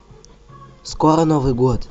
скоро новый год